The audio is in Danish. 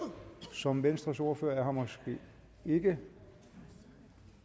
som venstres ordfører måske ikke